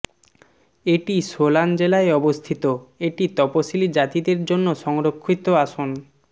এটি সোলান জেলায় অবস্থিত এটি তপসিলী জাতিদের জন্য সংরক্ষিত আসন